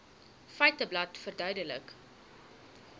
feiteblad verduidelik